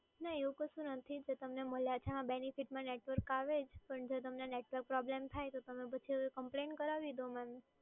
ના એવું કશું નથી, જો તમને મળ્યા છે એમાં બેનીફીટમાં નેટવર્ક આવે પણ જો તમને નેટવર્ક પ્રોબ્લેમ થાય તો તમે પછી કમ્પ્લેન કરાવી દો મેડમ.